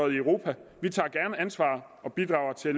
i europa vi tager gerne ansvar og bidrager til at